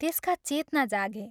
त्यसका चेतना जागे।